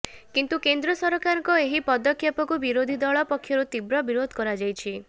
କିନ୍ତୁ କେନ୍ଦ୍ର ସରକାରଙ୍କ ଏହି ପଦକ୍ଷେପକୁ ବିରୋଧୀ ଦଳ ପକ୍ଷରୁ ତୀବ୍ର ବିରୋଧ କରାଯାଇଛି